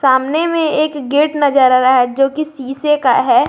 सामने में एक गेट नजर है जो किसी शीशे का है।